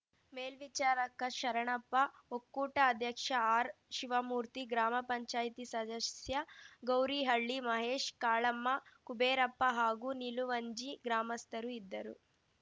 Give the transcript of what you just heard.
ಮೇಲ್ವಿಚಾರಕ ಶರಣಪ್ಪ ಒಕ್ಕೂಟ ಅಧ್ಯಕ್ಷ ಆರ್‌ಶಿವಮೂರ್ತಿ ಗ್ರಾಮ ಪಂಚಾಯ್ತಿ ಸದಸ್ಯ ಗೌರಿಹಳ್ಳಿ ಮಹೇಶ್‌ ಕಾಳಮ್ಮ ಕುಬೇರಪ್ಪ ಹಾಗೂ ನಿಲುವಂಜಿ ಗ್ರಾಮಸ್ಥರು ಇದ್ದರು